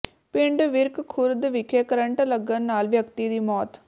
ਪਿੰਡ ਵਿਰਕ ਖੁਰਦ ਵਿਖੇ ਕਰੰਟ ਲੱਗਣ ਨਾਲ ਵਿਅਕਤੀ ਦੀ ਮੌਤ